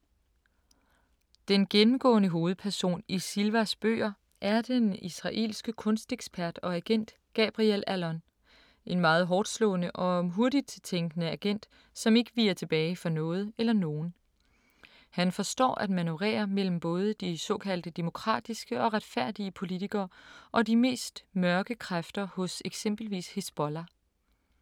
Den gennemgående hovedperson i Silvas bøger er den israelske kunstekspert og agent Gabriel Allon. En meget hårdtslående og hurtigt tænkende agent, som ikke viger tilbage for noget eller nogen. Han forstår at manøvrere mellem både de såkaldte demokratiske og retfærdige politikere og de mest mørke kræfter hos eksempelvis Hizbollah.